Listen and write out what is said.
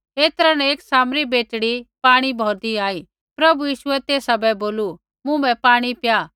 ऐतरै न एक सामरी बेटड़ी पाणी भौरदी आई प्रभु यीशुऐ तेसा बै बोलू मुँभै पाणी पिया